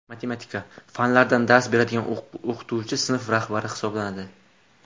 matematika) fanlardan dars beradigan o‘qituvchi sinf rahbari hisoblanadi.